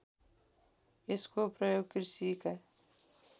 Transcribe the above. यसको प्रयोग कृषिका